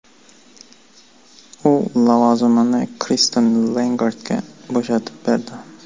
U lavozimini Kristin Lagardga bo‘shatib berdi.